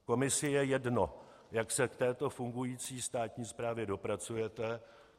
Komisi je jedno, jak se k této fungující státní správě dopracujete.